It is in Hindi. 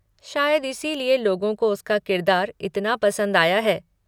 शायद इसीलिए लोगों को उसका किरदार इतना पसंद आया है।